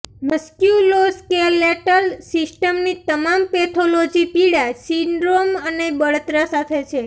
musculoskeletal સિસ્ટમની તમામ pathology પીડા સિન્ડ્રોમ અને બળતરા સાથે છે